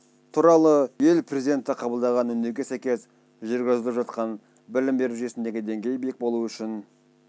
туралы ел президенті қабылдаған үндеуге сәйкес жүргізіліп жатқан білім беру жүйесіндегі деңгей биік болуы үшін